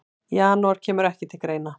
Janúar kemur ekki til greina.